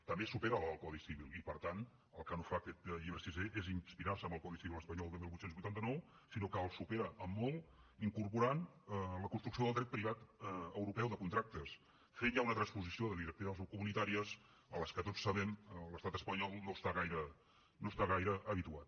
també supera la del codi civil i per tant el que no fa aquest llibre sisè és inspirarse en el codi civil espanyol de divuit vuitanta nou sinó que el supera en molt incorporant la construcció del dret privat europeu de contractes fent ja una transposició de directives comunitàries a les quals tots saben que l’estat espanyol no està gaire habituat